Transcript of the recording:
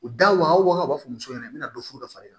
U daw u b'a fɔ muso ɲɛna u bɛna dɔ fo dɔ far'i kan